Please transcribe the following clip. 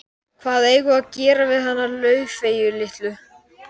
Hvað eigum við að gera við hana Laufeyju litlu?